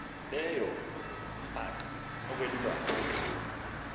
leyo umbaxa okwelulwane